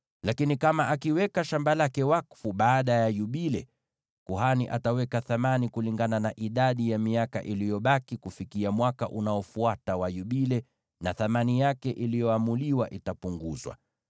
Lakini kama akiweka shamba lake wakfu baada ya Yubile, kuhani ataweka thamani kulingana na idadi ya miaka iliyobaki kufikia Mwaka wa Yubile unaofuata, na thamani yake iliyoamuliwa itapunguzwa.